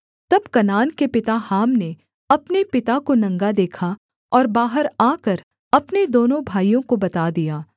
तब कनान के पिता हाम ने अपने पिता को नंगा देखा और बाहर आकर अपने दोनों भाइयों को बता दिया